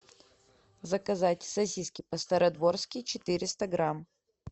заказать сосиски по стародворски четыреста грамм